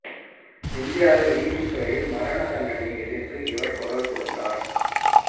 இந்தியாவின் நீதித்துறையில் மரண தண்டனையை எதிர்த்து இவர் குரல் கொடுத்தார்